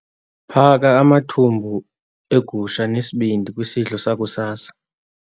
Phaka amathumbu egusha nesibindi kwisidlo sakusasa.